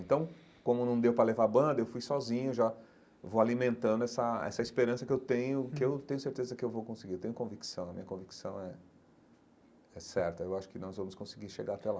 Então, como não deu para levar a banda, eu fui sozinho já, vou alimentando essa essa esperança que eu tenho, que eu tenho certeza que eu vou conseguir, eu tenho convicção, a minha convicção é é certa, eu acho que nós vamos conseguir chegar até lá.